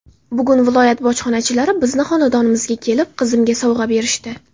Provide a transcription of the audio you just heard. Bugun viloyat bojxonachilari bizni xonadonimizga kelib qizimga sovg‘a berishdi.